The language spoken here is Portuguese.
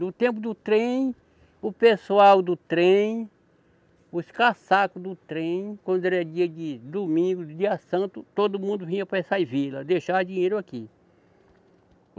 No tempo do trem, o pessoal do trem, os caçacos do trem, quando era dia de domingo, dia santo, todo mundo vinha para essas vilas, deixar dinheiro aqui.